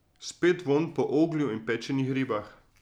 Spet vonj po oglju in pečenih ribah.